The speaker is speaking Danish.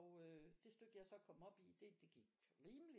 Og øh det stykke jeg så kom op i det det gik rimeligt